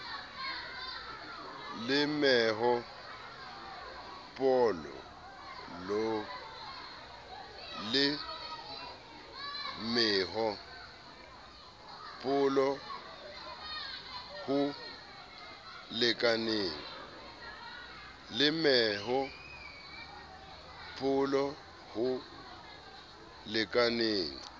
le meho polo ho lekaneng